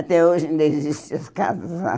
Até hoje ainda existem as casas lá.